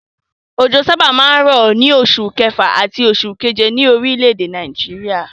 Òjò sábà máa ń rọ̀ ní oṣù kẹfà àti oṣù keje ní orílẹ̀-èdè Nàìjíríà.